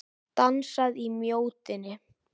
Dansað í Mjóddinni